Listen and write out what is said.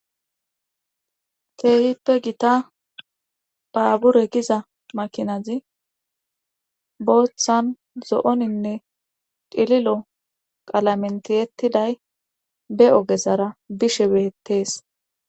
Keehippe gita baabure giza makinazi booththan zo'oninne cililo qalamen tiyettiday be ogezara bishe beettees